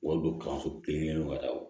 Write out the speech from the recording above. Wa don kalanso kelen kɔnɔ daw